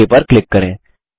okay पर click करें